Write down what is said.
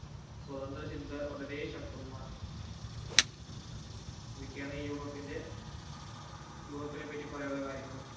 സ്വതന്ത്ര ചിന്ത വളരെ ശക്തവുമാണ് ഇതൊക്കെയാണ് യൂറോപ്പിന്റെ യൂറോപ്പിനെ പറ്റി പറയാനുള്ള കാര്യങ്ങള്